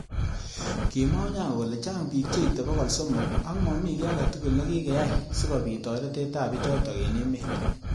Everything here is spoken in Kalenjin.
Kimwa Onyango kole chang bik. cheitei bokol. somok.ak mami ki age tugul nekikiai sikobit toretet ab bichotok. eng emet.